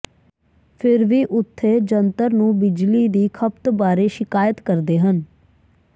ਫਿਰ ਵੀ ਉਥੇ ਜੰਤਰ ਨੂੰ ਬਿਜਲੀ ਦੀ ਖਪਤ ਬਾਰੇ ਸ਼ਿਕਾਇਤ ਕਰਦੇ ਹਨ